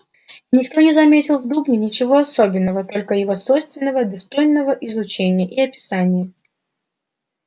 и никто не заметил в дубне ничего особенного только его свойственного достойного изучения и описания